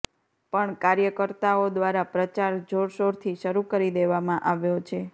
પણ કાર્યકર્તાઓ દ્વારા પ્રચાર જોરશોરથી શરૂ કરી દેવામાં આવ્યો છે